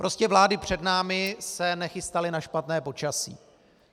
Prostě vlády před námi se nechystaly na špatné počasí.